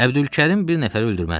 Əbdülkərim bir nəfər öldürməzdi.